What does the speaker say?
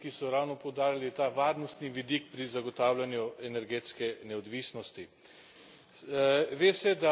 Zato podpiram vse tiste kolege, ki so ravno poudarili ta varnostni vidik pri zagotavljanju energetske neodvisnosti.